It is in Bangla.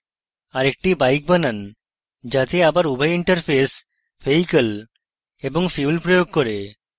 আরেকটি bike বানান যাতে আবার উভয় interfaces vehicle এবং fuel প্রয়োগ করে